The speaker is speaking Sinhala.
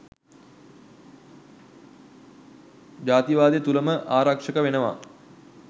ජාතිවාදය තුලම ආරක්ෂක වෙනවා